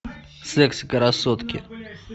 секс красотки